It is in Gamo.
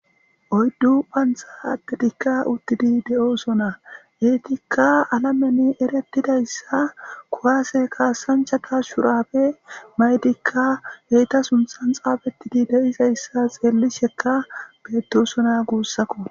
Oyddu qanththa addetika uttidi de7osona eyytika alemen eretidaysa kuwase kasanchati shurabbe mayidilla eeta sunththan xafetidi deizaysa xellisheka betosona gussuko.